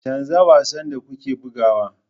Canza wasan da kuke bugawa